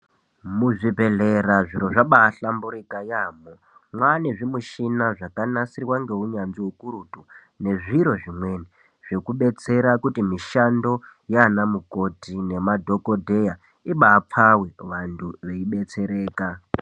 Muzvibhedhlera zviro zvabaa hlamburuka yaambo. Mwaane zvimushina zvakanasirwa ngeunyanzvi hukurutu nezviro zvimweni zvekudetsera kuti mushando yaana mukoti nema dhokodeya ibaapfawe vanthu veidetsereka.